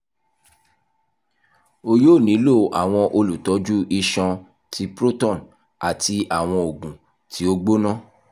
o yoo nilo awọn olutọju iṣan ti proton ati awọn oogun ti o gbona